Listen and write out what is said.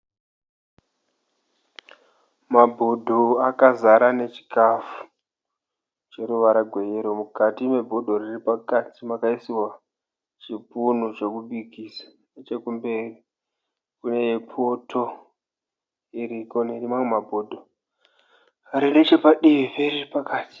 Mabhodho akazara nechikafu chine ruvara gweyero. Mukati mebhodha riri pakati makaiswa chipunu chekubikisa. Nechekumberi kune poto iriko nemamwe mabhodho ari nechepadivi periri pakati.